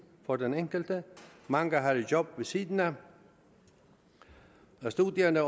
for den enkelte mange har et job ved siden af studierne